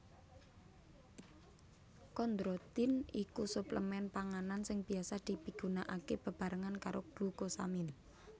Kondrotin iku suplemen panganan sing biasa dipigunakaké bebarengan karo glukosamin